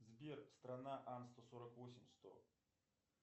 сбер страна ан сто сорок восемь сто